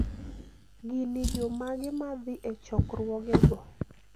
gini jomage madhi e chokruogego?